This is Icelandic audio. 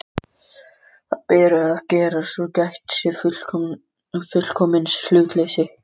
Hvað beri að gera, svo gætt sé fullkomins hlutleysis?